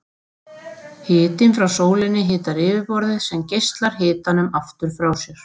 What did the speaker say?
Hitinn frá sólinni hitar yfirborðið sem geislar hitanum aftur frá sér.